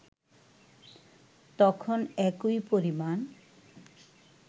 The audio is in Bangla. তখন একই পরিমাণ